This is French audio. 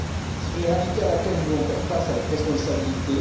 C'est une réalité à laquelle nous devons faire face avec responsabilité.